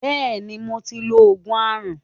Bẹẹni, mo ti lo Ògùn aràn.